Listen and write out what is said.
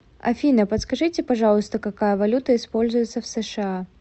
афина подскажите пожалуйста какая валюта используется в сша